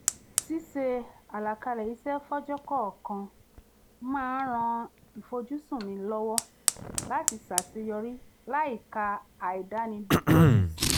ṣíṣe àlàkalẹ̀ iṣẹ́ fọ́jọ́ kọ̀ọ̀kan máa ń ran ìfojúsùn mi lọ́wọ́ láti ṣàṣeyọrí láìka àìdánilójú sí